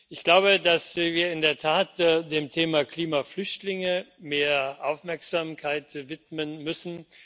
Ich glaube, dass wir in der Tat dem Thema Klimaflüchtlinge mehr Aufmerksamkeit widmen müssen.